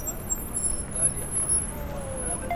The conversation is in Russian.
наталья абдулфанова